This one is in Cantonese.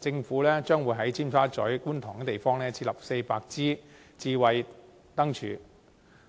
政府將會在尖沙咀、觀塘等地設立400支智慧燈柱，